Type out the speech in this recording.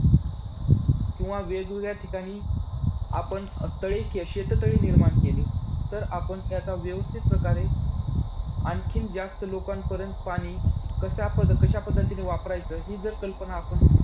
किंवा वेगवेगळ्या ठिकाणी आपण तळे~ अं शेततळे निर्माण केले, तर आपण त्याचा व्यवस्थित प्रकारे आणखीन जास्त लोकांपर्यंत पाणी कशा कशा पद्धतीने वापरायचं हि जर कल्पना आपण